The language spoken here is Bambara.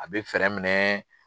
A be minɛ